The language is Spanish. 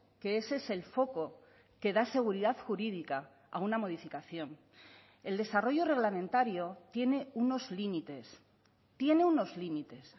que ese es el foco que da seguridad jurídica a una modificación el desarrollo reglamentario tiene unos límites tiene unos límites